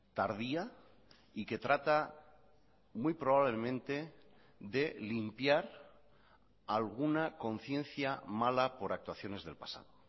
tardía y que trata muy probablemente de limpiar alguna conciencia mala por actuaciones del pasado